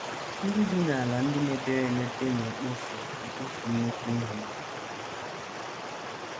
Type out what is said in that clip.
NDỊ bi n’ala ndị mepere emepe na - ekpofu ekpofu nnukwu ihe.